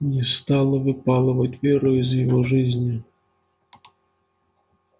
не стала выпалывать веру из его жизни